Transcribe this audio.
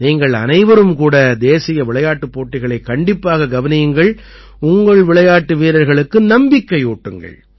நீங்கள் அனைவரும் கூட தேசிய விளையாட்டுப் போட்டிகளைக் கண்டிப்பாக கவனியுங்கள் உங்கள் விளையாட்டு வீரர்களுக்கு நம்பிக்கையூட்டுங்கள்